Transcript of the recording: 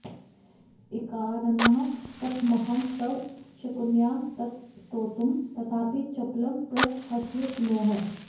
एकाननः कथमहं तव शक्नुयां तत् स्तोतुं तथापि चपलं प्रसहस्व सूनोः